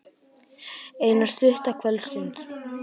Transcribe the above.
Eina stutta kvöldstund.